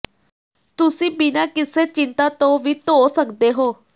ਤੁਸੀਂ ਬਿਨਾਂ ਕਿਸੇ ਚਿੰਤਾ ਤੋਂ ਵੀ ਧੋ ਸਕਦੇ ਹੋ